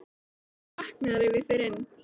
Hún vaknar ef ég fer inn.